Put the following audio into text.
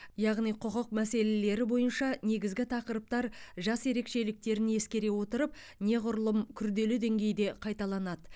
яғни құқық мәселелері бойынша негізгі тақырыптар жас ерекшеліктерін ескере отырып неғұрлым күрделі деңгейде қайталанады